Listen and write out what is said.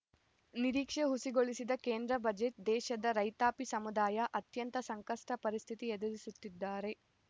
ನಿರೀಕ್ಷೆ ಹುಸಿಗೊಳಿಸಿದ ಕೇಂದ್ರ ಬಜೆಟ್‌ ದೇಶದ ರೈತಾಪಿ ಸಮುದಾಯ ಅತ್ಯಂತ ಸಂಕಷ್ಟಪರಿಸ್ಥಿತಿ ಎದುರಿಸುತ್ತಿದ್ದಾರೆ